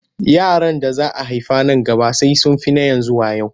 Yaran da za a haifa man gaba sai sun fi na yanzu wayo.